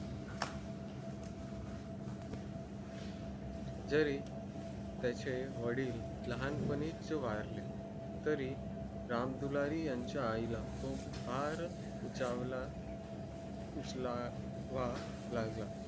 जरी त्याचे वडील लहान पाणी च वारले तरी राम दुलारी यांच्या आई ला उचलावा लागला